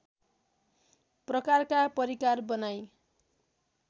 प्रकारका परिकार बनाई